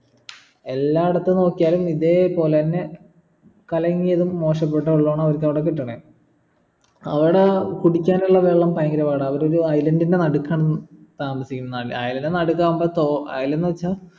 എല്ലായിടത്തും നോക്കിയാലും ഇതുപോലെന്നെ കലങ്ങിയതും മോശപ്പെട്ട വെള്ളോന്ന് അവർക്ക് അവിടെ കിട്ടണേ അവിട കുടിക്കാനുള്ള വെള്ളം ഭയങ്കര പാട അവരൊരു island ൻ്റെ നടുക്കാന്ന് താമസിക്കണേ island ൻ്റെ നടക്കാകുമ്പോ തോ island വെച്ചാ